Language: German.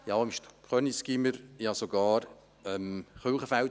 Ich habe auch an den Gymnasien Köniz und Kirchenfeld unterrichtet.